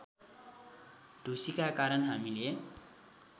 ढुसीका कारण हामीले